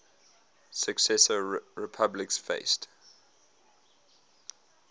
successor republics faced